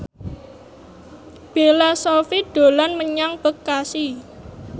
Bella Shofie dolan menyang Bekasi